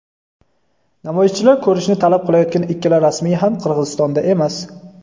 namoyishchilar ko‘rishni talab qilayotgan ikkala rasmiy ham Qirg‘izistonda emas.